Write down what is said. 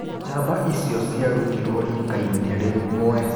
Njamba icio ciarutirwo rikaĩni rĩmwe